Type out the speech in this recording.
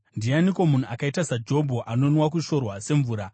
Ndianiko munhu akaita saJobho, anonwa kushorwa semvura?